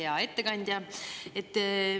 Hea ettekandja!